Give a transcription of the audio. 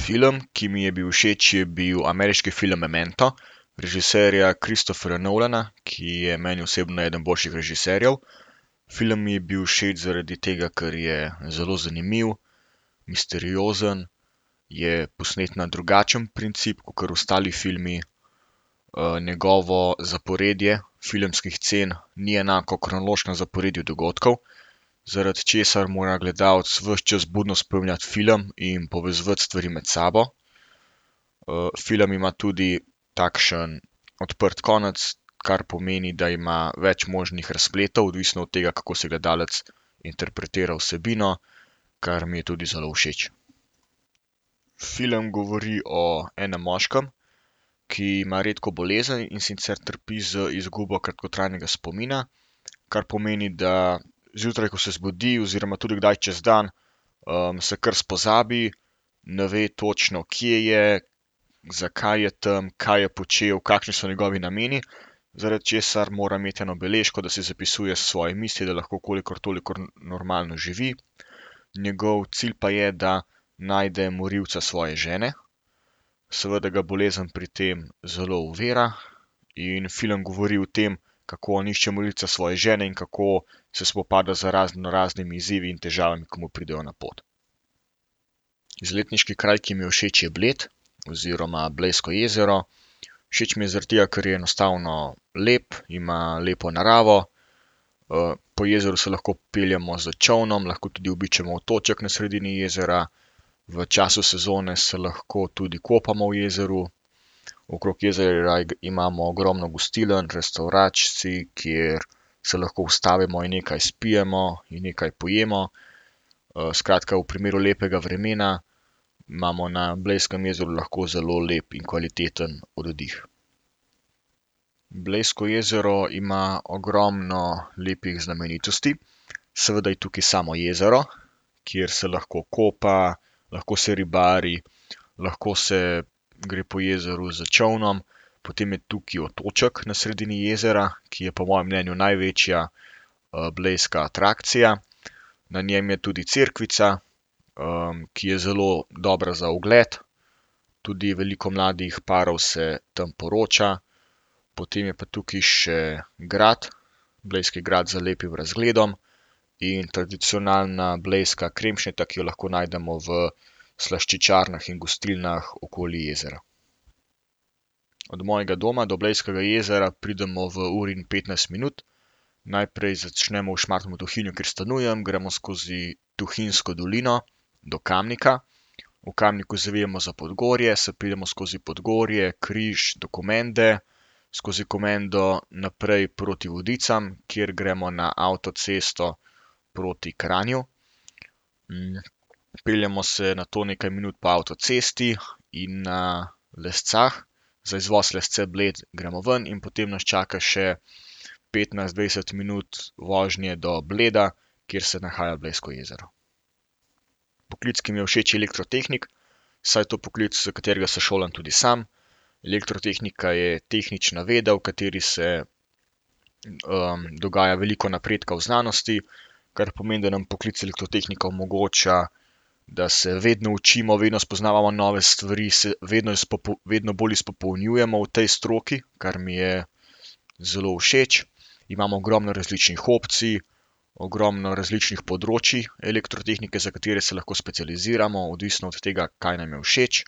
Film, ki mi je bil všeč, je bil ameriški film Memento, režiserja Christopherja Nolana, ki je meni osebno eden boljših režiserjev. Film mi je bil všeč zaradi tega, ker je zelo zanimiv, misteriozen, je posnet na drugačen princip kakor ostali filmi. njegovo zaporedje filmskih scen ni enako kronološkemu zaporedju dogodkov, zaradi česar mora gledalec ves čas budno spremljati film in povezovati stvari med sabo. film ima tudi takšen odprt konec, kar pomeni, da ima več možnih razpletov, odvisno od tega, kako si gledalec interpretira vsebino, kar mi je tudi zelo všeč. Film govori o enem moškem, ki ima redko bolezen, in sicer trpi za izgubo kratkotrajnega spomina, kar pomeni, da zjutraj, ko se zbudi, oziroma tudi kdaj čez dan, se kar spozabi, ne ve točno, kje je, zakaj je tam, kaj je počel, kakšni so njegovi nameni, zaradi česar mora imeti eno beležko, da si zapisuje svoje misli, da lahko kolikor toliko normalno živi. Njegov cilj pa je, da najde morilca svoje žene. Seveda ga bolezen pri tem zelo ovira in film govori o tem, kako on išče morilca svoje žene in kako se spopada z raznoraznimi izzivi in težavami, ko mu pridejo na pot. Izletniški kraj, ki mi je všeč, je Bled oziroma Blejsko jezero. Všeč mi je zaradi tega, ker je enostavno lep, ima lepo naravo, po jezeru se lahko peljemo s čolnom, lahko tudi obiščemo otoček na sredini jezera. V času sezone se lahko tudi kopamo v jezeru. Okrog jezera imamo ogromno gostiln, restavracij, kjer se lahko ustavimo in nekaj spijemo in nekaj pojemo. skratka, v primeru lepega vremena imamo na Blejskem jezeru lahko zelo lep in kvaliteten oddih. Blejsko jezero ima ogromno lepih znamenitosti, seveda je tukaj samo jezero, kjer se lahko kopa, lahko se ribari, lahko se gre po jezeru s čolnom. Potem je tukaj otoček na sredini jezera, ki je po mojem mnenju največja, blejska atrakcija. Na njem je tudi cerkvica, ki je zelo dobra za ogled. Tudi je veliko mladih parov se tam poroča, potem je pa tukaj še grad, blejski grad z lepim razgledom. In tradicionalna blejska kremšnita, ki jo lahko najdemo v slaščičarnah in gostilnah okoli jezera. Od mojega doma do Blejskega jezera pridemo v uri in petnajst minut. Najprej začnemo v Šmartnem v Tuhinju, kjer stanujem. Gremo skozi Tuhinjsko dolino do Kamnika, v Kamniku zavijemo za Podgorje, se peljemo skozi Podgorje, Križ do Komende. Skozi Komendo naprej proti Vodicam, kjer gremo na avtocesto proti Kranju. peljemo se nato nekaj minut po avtocesti in na Lescah za izvoz Lesce-Bled gremo ven in potem nas čaka še petnajst, dvajset minut vožnje do Bleda, kjer se nahaja Blejsko jezero. Poklic, ki mi je všeč, je elektrotehnik, saj je to poklic, za katerega se šolam tudi sam. Elektrotehnika je tehnična veda, v kateri se, dogaja veliko napredka v znanosti, kar pomeni, da nam poklic elektrotehnika omogoča, da se vedno učimo, vedno spoznavamo nove stvari, se vedno vedno bolj izpopolnjujemo v tej stroki, kar mi je zelo všeč. Imamo ogromno različnih opcij. Ogromno različnih področij elektrotehnike, za katere se lahko specializiramo, odvisno od tega, kaj nam je všeč.